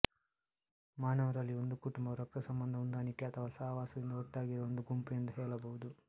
ಮಾನವರಲ್ಲಿ ಒಂದು ಕುಟುಂಬವು ರಕ್ತಸಂಬಂಧ ಹೊಂದಾಣಿಕೆ ಅಥವಾ ಸಹವಾಸದಿಂದ ಒಟ್ಟಾಗಿರುವ ಒಂದು ಗುಂಪು ಎಂದು ಹೇಳಬಹುದು